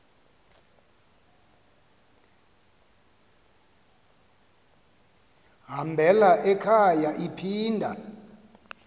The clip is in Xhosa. hambela ekhaya iphinda